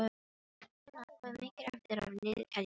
Stína, hvað er mikið eftir af niðurteljaranum?